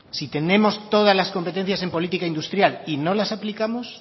si tenemos todas las competencias en política industrial y no las aplicamos